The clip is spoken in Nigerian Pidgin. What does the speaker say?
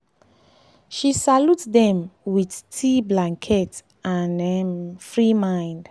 she salute them with tea blanket and um free mind